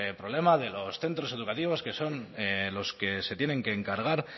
problema de los centros educativos que son los que se tienen que encargar